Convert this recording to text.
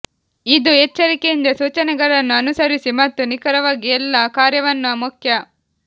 ಇದು ಎಚ್ಚರಿಕೆಯಿಂದ ಸೂಚನೆಗಳನ್ನು ಅನುಸರಿಸಿ ಮತ್ತು ನಿಖರವಾಗಿ ಎಲ್ಲಾ ಕಾರ್ಯವನ್ನು ಮುಖ್ಯ